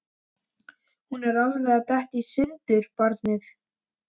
Hún er alveg að detta í sundur, barnið.